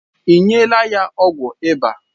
Ị nyela ya ọgwụ ịba?